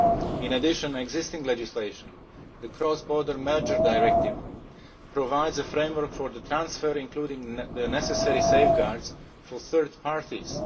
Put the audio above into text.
In addition, existing legislation the Cross Border Mergers Directive provides a framework for the transfer, including the necessary safeguards for third